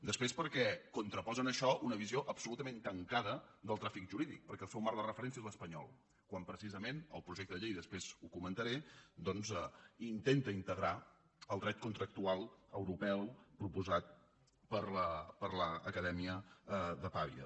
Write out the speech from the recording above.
després perquè contraposen això a una visió absolutament tancada del tràfic jurídic perquè el seu marc de referència és l’espanyol quan precisament el projecte de llei i després ho comentaré intenta integrar el dret contractual europeu proposat per l’acadèmia de pavia